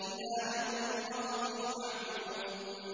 إِلَىٰ يَوْمِ الْوَقْتِ الْمَعْلُومِ